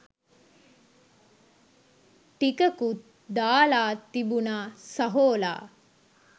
ටිකකුත් දාලා තිබුනා සහෝලා